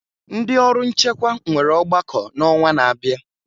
Ndị ọrụ nchekwa nwere ọgbakọ n'ọnwa na-abịa.